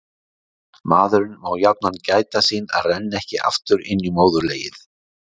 Maðurinn má jafnan gæta sín að renna ekki aftur inn í móðurlegið.